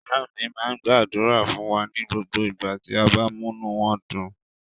Ìyá mi máa ń gbàdúrà fún wa ní gbogbo ìgbà tí a bá múnú wọn dùn.